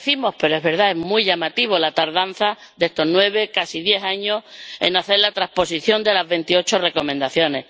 lo decimos, pero es verdad es muy llamativa la tardanza de estos nueve, casi diez años, en hacer la transposición de las veintiocho recomendaciones.